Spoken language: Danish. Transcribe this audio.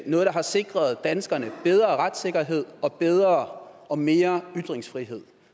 noget der har sikret danskerne bedre retssikkerhed og bedre og mere ytringsfrihed